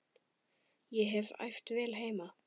Ég hef æft vel heima.